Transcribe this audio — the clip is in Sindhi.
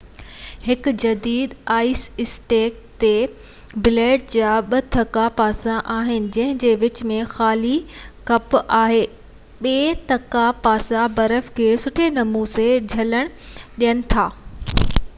هڪ جديد آئيس اسڪيٽ تي بليڊ جا ٻہ تکا پاسا آهن جنهن جي وچ ۾ خالي کٻ آهي ٻہ تکا پاسا برف کي سٺي نموني جهلڻ ڏين ٿا ايستائين جو ڀلي جهڪيل هجي